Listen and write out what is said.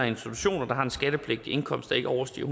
institutioner der har en skattepligtig indkomst der ikke overstiger